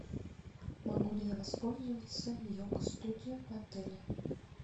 могу ли я воспользоваться йога студией в отеле